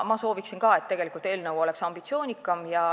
Ma sooviksin ka, et eelnõu oleks ambitsioonikam.